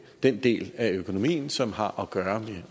den del af økonomien som har at gøre